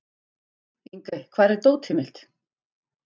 Ingey, hvar er dótið mitt?